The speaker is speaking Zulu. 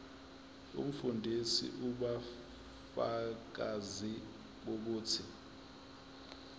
umfundisi ubufakazi bokuthi